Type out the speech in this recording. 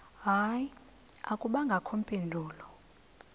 hayi akubangakho mpendulo